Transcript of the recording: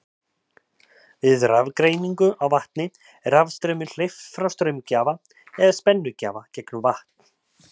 Við rafgreiningu á vatni er rafstraumi hleypt frá straumgjafa eða spennugjafa gegnum vatn.